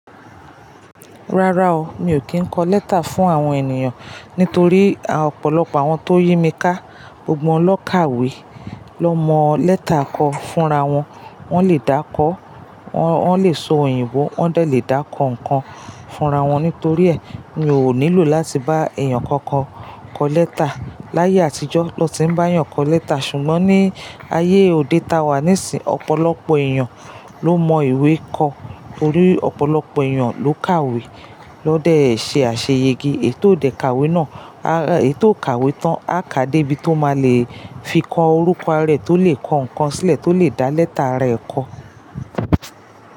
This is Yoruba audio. Rárá o, mi ò kí ń kọ lẹ́tà fún àwọn ènìyàn nítorí ọ̀pọ̀lọpọ̀ àwọn tó yí mi ká, gbogbo wọn ló kàwé, ló mọ lẹ́tà kọ fúnra wọn, wón lè dákọ, wón lè sọ òyìnbó, wón lè dẹ dàkọ ǹkan fúnra wọn. Nítorí è, mi ò nílò láti bá èèyàn kankan kọ lẹ́tà. Láyé àtijọ́ na ti ń bá èèyàn kọ lẹ́tà. Ṣùgbọ́n ní ayé òde táa wà nísìíń, ọ̀pọ̀lọpọ̀ èèyàn ló mọ ìwé kọ, torí ọ̀pọ̀lọpọ̀ èèyàn ló kàwé, na dẹ̀ ṣe àṣeyẹge. Èetò dẹ kàwé náà, ara e ètò kàwé tan á ká dé ibi tó máa lè fi kọ orúkọ ara e, tó lè kọ ǹkan sílẹ̀, tó lè dá lẹ́tà rẹ̀ kọ.